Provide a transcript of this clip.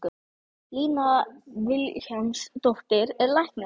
Lína Vilhjálmsdóttir er læknir.